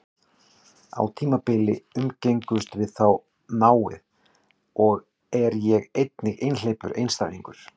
Á tímabili umgengumst við þó náið, og er ég einnig einhleypur einstæðingur.